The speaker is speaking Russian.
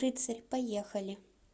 рыцарь поехали